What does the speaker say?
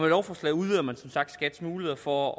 lovforslaget udvider man som sagt skats muligheder for